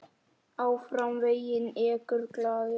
Áfram veginn ekur glaður.